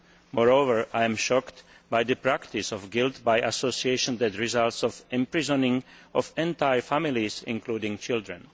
Moreover, I am shocked by the practice of guilt by association that results in the imprisonment of entire families, including children.